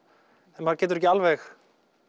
þegar maður getur ekki alveg